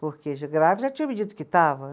Porque já, grave já tinham me dito que estava.